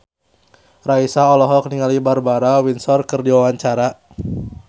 Raisa olohok ningali Barbara Windsor keur diwawancara